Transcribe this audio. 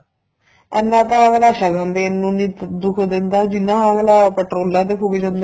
ਇੰਨਾ ਤਾਂ ਅੱਗਲਾ ਸ਼ਗਣ ਦੇਣ ਨੂੰ ਨੀਂ ਦੁੱਖ ਦਿੰਦਾ ਜਿੰਨਾ ਅੱਗਲਾ ਪੇਟ੍ਰੋਲਾ ਤੇ ਫੂਕ ਜਾਂਦਾ